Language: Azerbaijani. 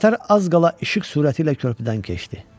Qatar az qala işıq sürəti ilə körpüdən keçdi.